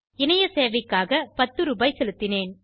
இணைய சேவைக்காக 10 ரூபாய் செலுத்தினேன்